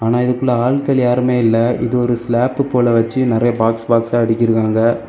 ஆனா இதுக்குள்ள ஆள்கள் யாருமே இல்ல இது ஒரு ஸ்லாப் போல வெச்சு நெறைய பாக்ஸ் பாக்ஸ் அடுக்கிருக்காங்க.